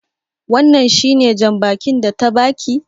Wannan shi ne jan bakin da ta ba ki?